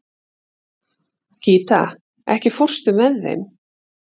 Gíta, ekki fórstu með þeim?